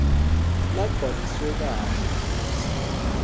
lagcwaliswe kahle futsi